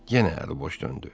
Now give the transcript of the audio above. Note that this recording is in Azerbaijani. Yenə əli boş döndü.